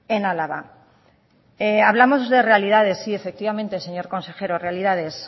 en álava hablamos de realidades sí efectivamente señor consejero realidades